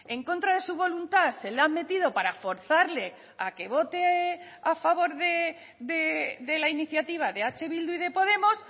en contra de su voluntad se la han metido para forzarle a que vote a favor de la iniciativa de eh bildu y de podemos